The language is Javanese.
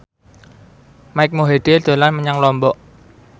Mike Mohede dolan menyang Lombok